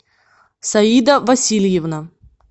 саида васильевна